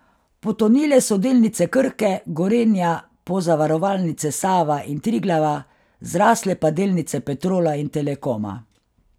Potonile so delnice Krke, Gorenja, Pozavarovalnice Sava in Triglava, zrasle pa delnice Petrola in Telekoma.